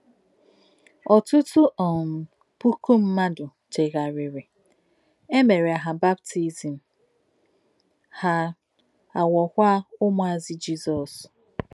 Ọ̀tụ́tù̀ um pùkù mmádụ̀ chèghàrìrì, è mèrè hà baptizim, hà àghọ̀kwà ǔmùàzù Jizọ́s.